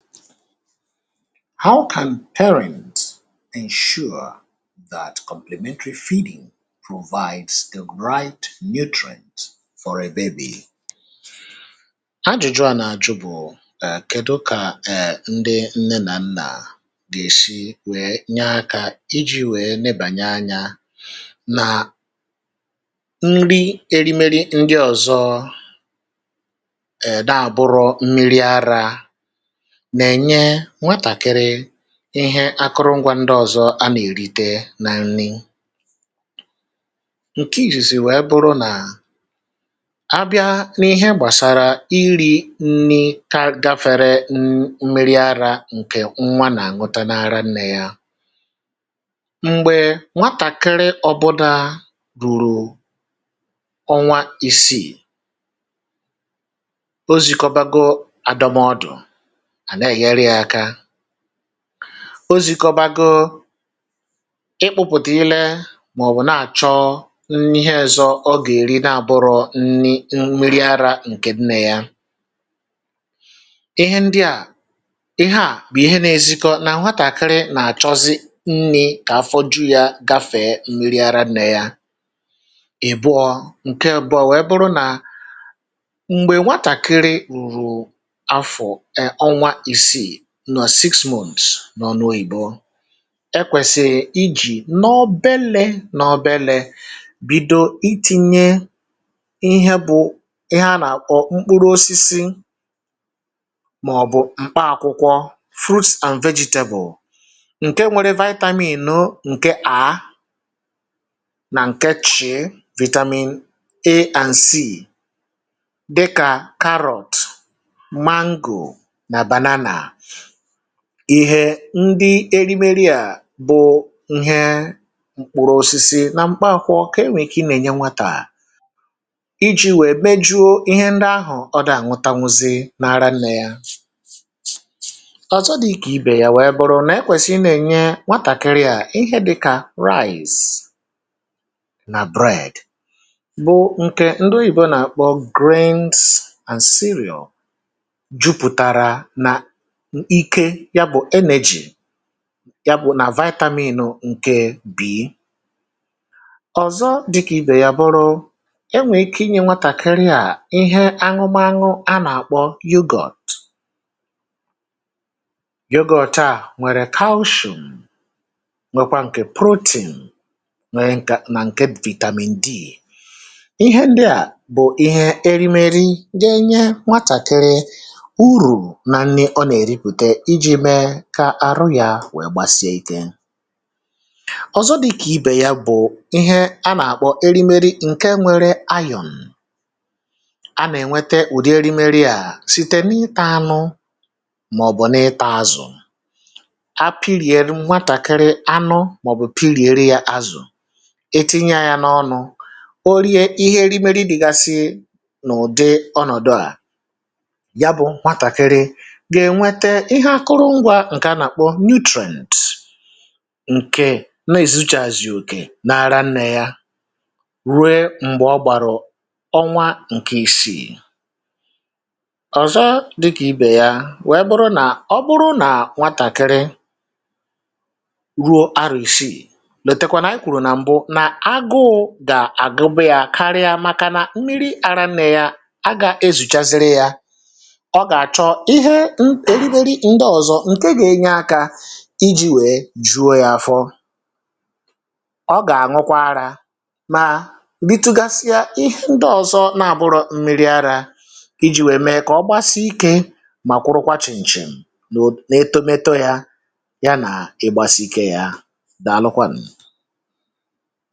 How can parents ensure that complementary feeding provides the right nutrients for a baby. àjụ̀jụ̀ à nà àjụ bụ̀ è kedu kà ẹẹ̀ nnẹ nà nnà gà èshi wee nye akȧ iji̇ wẹẹ nà ebànye anyȧ nà nri erimeri ndị ọ̀zọ ẹ̀ ná buró mmirí ará n'yé nwatákiri ihe akụrụngwȧ ndị ọ̀zọ a nà-èrite na nri. Ǹke ìzìzì wee bụrụ nà a bịa nà ihe gbàsara iri̇ nnì ka gafere nni mmiri arȧ ǹkè nwa nà-àṅụta na ara nnė ya, m̀gbè nwatàkịrị ọ̀bụna rùrù ọnwa isì, ozì kọbago adomódú, á n'nyere ya aka, ozì kọbago ịkpụ̇pụ̀tà ịlẹ màọ̀bụ̀ nà-àchọ n ihe ẹ̀zọ ọ gà-èri nà-àbụrọ̇ nni nmiri ara ǹkè nnè ya, ihe ndị à ihe à bụ̀ ihe nȧ-ẹzikọ nà-àhwatàkịrị nà-àchọzị nni̇ kà afọ ju ya gafèe mmiri ara nà ya. Èbụ̇ọ̀, ǹke ebụọ̇ nwèe bụrụ nà m̀gbè nwatàkịrị rùrù afo ọnwa isì, na 6 months nọ ónu-oyìbo ekwèsì ijì nọọbele nọọbele bìdo itinye ihe bụ̀ ihe a nà-àkpọ̀ mkpụrụ osisi màọ̀bụ̀ m̀kpà àkwụkwọ frụṡ and vegetable ǹke nwere vitaminu ǹke à nà ǹke chi vitamin A and C dịkà karot mango nà banana ihe ndị erimeri a bụ ihe mkpụrụ osisi na mkpa akwọ ka e nwèrè ike ị nà-ènye nwȧtà à iji̇ wèe be juo ihe ndị ahụ̀ ọ dị ànwụtanwuzi na-ara nnė ya. Ọ̀zọ dịkà ibè ya wèe bụrụ nà ekwèsì ị na-ènye nwatàkịrị à ihe dịkà ricé nà breád bụ ǹkè ndị oyìbo nà-àkpọ grains and cereal jupụ̀tara na ike ya bụ̀ energy, ya bù na vitamin ǹkè bì. Ọ̀zọ dịkà ibè yà bụrụ e nwèrè ike inyė nwatàkịrị à ihe awụma awụ a nàkpọ yogot, yogot à nwèrè calcium nwèkwà ǹkè protein nwéré nà ǹkè vitamin D. Ihe ndị à bụ̀ ihe erimeri ǹke ne nye nwatàkịrị àrụ yȧ wèe gbàsìe ike. Ọ̀zọ dị̇kà ibè ya bụ̀ ihe a nà-àkpọ erimeri ǹke nwéré ayọ̀n, a nà-ènwete ụ̀dị erimeri àà sìtè n’ịtȧ anụ màọ̀bụ̀ n’ịtȧ azụ̀. A piri̇enu nwatàkịrị anụ màọ̀bụ̀ piri̇eri ya azụ̀ itinye ya n’ọnụ o rie ihe erimeri dị̇gàsị nụ̀ dị ọnọ̀dụà, ya bụ̇ nwatàkịrị ga enwté Ihe akurúngwá ǹkè anà-àkpọ newtrant ǹkè n’èzuchì àzì òkè na-ara nà ya ruo m̀gbè ọ gbàrọ̀ ọnwa ǹkè ìsì. Ọ̀zọ̀ dịkà ibè ya wèe bụrụ nà ọ bụrụ nà nwatàkịrị ruo aro ị̀sịì, lòtekwa nà anyí kwùrù nà m̀bụ nà agụụ gà àgụbe ya karịa màkà nà mmiri arȧ nà ya a gà-ezùchasiri ya, ógá choo ihe ndi ozó nke ga enye aka iji̇ wèe juo yȧ afọ. Ọ gà-àṅụkwa ara mà ritụgasịa ihe ndị ọ̀zọ nà-àbụrụ̇ m̀miri arȧ, ijì wèe mee kà ọ gbasị ikė mà kwụrụkwa chìǹchìm n’etȯmetȯ yȧ, ya nà ịgbȧsị̇ ike yȧ. Dàalụkwanụ̀.